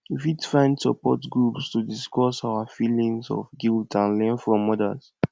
we fit find support groups to discuss our feelings of guilt and learn from others